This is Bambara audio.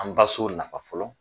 An baso nafa fɔlɔ